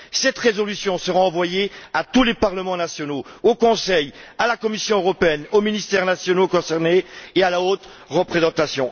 Cette résolution sera envoyée à tous les parlements nationaux, au Conseil, à la Commission européenne, aux ministères nationaux concernés et à la haute représentante.